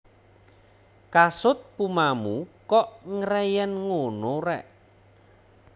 Kasut Pumamu kok ngreyen ngunu rek